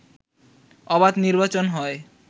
অবাধ নির্বাচন হয়